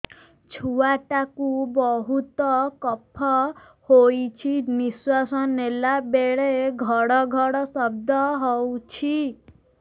ଛୁଆ ଟା କୁ ବହୁତ କଫ ହୋଇଛି ନିଶ୍ୱାସ ନେଲା ବେଳେ ଘଡ ଘଡ ଶବ୍ଦ ହଉଛି